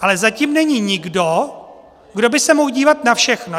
Ale zatím není nikdo, kdo by se mohl dívat na všechno.